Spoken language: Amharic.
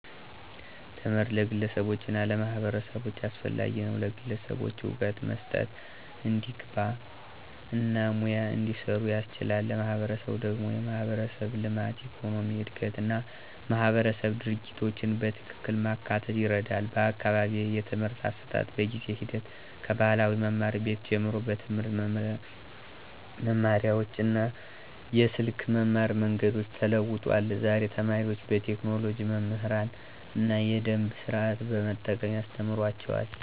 ትምህርት ለግለሰቦች እና ለማህበረሰቦች አስፈላጊ ነው፤ ለግለሰቦች እውቀት መስጠት፣ እንዲግባ እና ሙያ እንዲሰሩ ያስችላል። ለማህበረሰብ ደግሞ የማህበረሰብ ልማት፣ የኢኮኖሚ እድገት እና ማህበረሰብ ድርጊቶችን በትክክል ማካተት ይረዳል። በአካባቢዬ የትምህርት አሰጣጥ በጊዜ ሂደት ከባህላዊ መማር ቤት ጀምሮ በትምህርት መማሪያዎች እና የስልክ መማር መንገዶች ተለውጧል። ዛሬ ተማሪዎች በቴክኖሎጂ መምህራን እና የደምብ ስርዓቶችን በመጠቀም ያስተማሩአቸዋል።